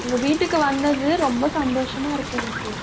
உங்க வீட்டுக்கு வந்தது ரொம்ப சந்தோஷமா இருக்கு, எனக்கு.